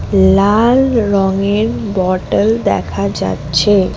লাল রঙের বটল দেখা যাচ্ছে।